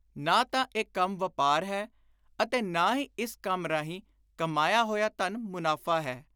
ਨਾ ਤਾਂ ਇਹ ਕੰਮ ਵਾਪਾਰ ਹੈ ਅਤੇ ਨਾ ਹੀ ਇਸ ਕੰਮ ਰਾਹੀਂ ਕਮਾਇਆ ਹੋਇਆ ਧਨ ਮੁਨਾਫ਼ਾ ਹੈ।